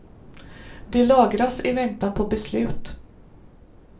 De lagras i väntan på beslut.